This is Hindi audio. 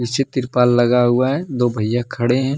पीछे त्रिपाल लगा हुआ है दो भइया खड़े हैं।